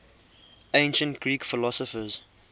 ancient greek philosophers